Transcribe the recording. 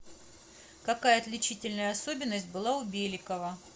какая отличительная особенность была у беликова